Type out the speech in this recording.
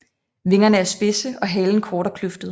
Vingerne er spidse og halen kort og kløftet